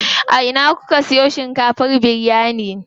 A ina kuka siyo shinkafar biryani?